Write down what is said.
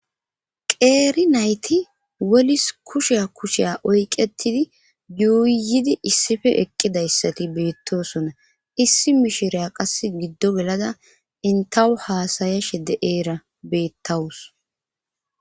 Qeeri nayti wolis kushiya kusheya oyqettidi yuuyyidi issife eqqidayssati beettosona issi mishireya qass giddo gelada intawu haasaya shedde eera beettawus